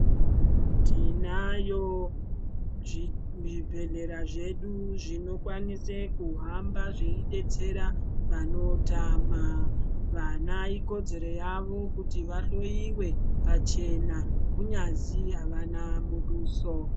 Tinayo muzvibhedhlera zvedu zvinokwanisa kuhamba zveidetsera vanotama vana ikodzero yavo kuti vahloiwe pachena kunyazi avana muduso .